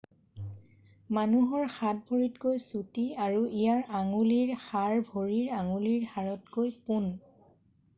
মানুহৰ হাত ভৰিতকৈ চুটি আৰু ইয়াৰ আঙুলিৰ হাড় ভৰিৰ আঙুলিৰ হাড়তকৈ পোন